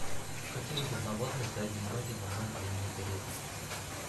у каких земноводных задние ноги намного длиннее передних